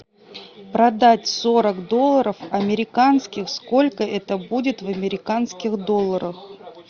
продать сорок долларов американских сколько это будет в американских долларах